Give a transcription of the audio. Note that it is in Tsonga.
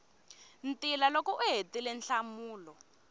ntila loko u hetile nhlamulo